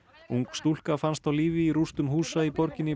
ung stúlka fannst á lífi í rústum húsa í borginni